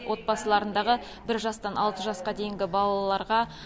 отбасыларындағы бір жастан алты жасқа дейінгі балаларға